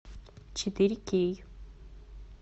четыре кей